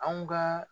Anw ka